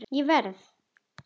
Ég verð!